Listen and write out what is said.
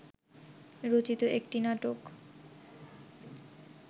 রচিত একটি নাটক